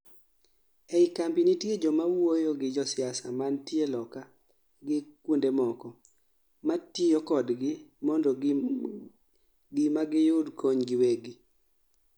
ei kambi nitie joma wuoyo gi josiasa mantie loka gi kuondemoko, matiyo kodgi mondo ginma giyud kony giwegi